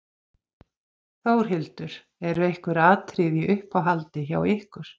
Þórhildur: Eru einhver atriði í uppáhaldi hjá ykkur?